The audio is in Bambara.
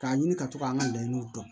K'a ɲini ka to k'an ka laɲiniw dɔn